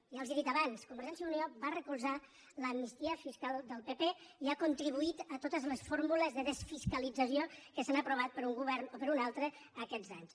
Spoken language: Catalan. ja els ho he dit abans convergència i unió va recolzar l’amnistia fiscal del pp i ha contribuït a to·tes les fórmules de desfiscalització que s’han aprovat per un govern o per un altre aquests anys